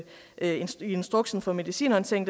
instruksen for medicinhåndtering